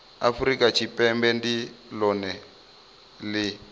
afurika tshipembe ndi lone li